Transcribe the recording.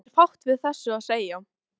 Það er fátt við þessu að segja.